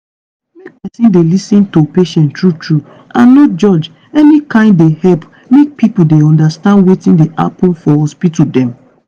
make peson dey lis ten to patient true true and no judge any kain dey help make pipo dey undastand wetin dey happen for hospital dem.